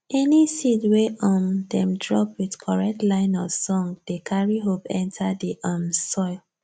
any seed wey um dem drop with correct line of song dey carry hope enter the um soil